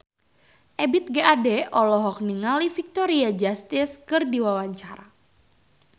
Ebith G. Ade olohok ningali Victoria Justice keur diwawancara